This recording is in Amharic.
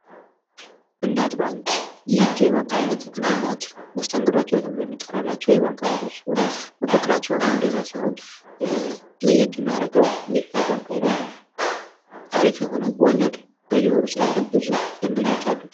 እናት ባንክ ይህ የባንክ ዓይነት እንደ እናት መስተንግዷቸው ትብሎ የሚጠረላቸው የባንክ አይነቶች ሲሆኑ መፋክራቸውም እንደዚያ ሲሆን ለየት የሚያረገው ይህ ባንክ ዓይነት አሪፍ የሆነ ወለድ በየወሩ ስላለሁ ብዙ ደንበኞች አሉ።